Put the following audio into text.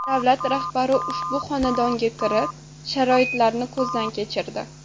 Davlat rahbari ushbu xonadonga kirib, sharoitlarni ko‘zdan kechirdi.